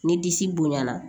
Ni disi bonyana